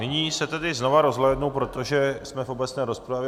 Nyní se tedy znova rozhlédnu, protože jsme v obecné rozpravě.